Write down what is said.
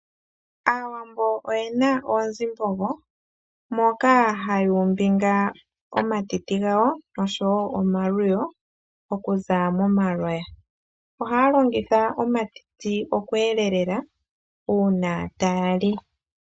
Aawambo oyena oonzimbogo moka ha ya umbingile omatiti gawo, Omatiti oha ga longithwa oku elelela uuna taya li omihoka dhawo